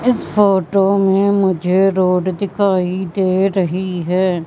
इस फोटो में मुझे रोड दिखाई दे रही हैं।